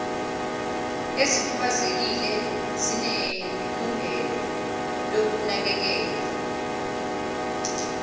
ezikhubazekile zinelungelo lokunakekelwa